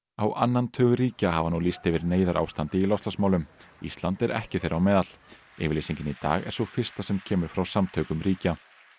á annan tug ríkja hafa nú lýst yfir neyðarástandi í loftslagsmálum ísland er ekki þeirra á meðal yfirlýsingin í dag er sú fyrsta sem kemur frá samtökum ríkja